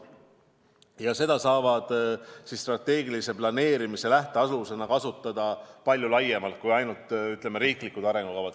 Ja seda saab strateegilise planeerimise lähtealusena kasutada palju laiemalt kui ainult riiklikes arengukavades.